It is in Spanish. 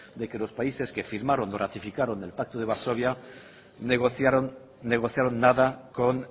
de que los países que firmaron o ratificaron el pacto de varsovia negociaron negociaron nada con